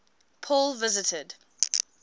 paul visited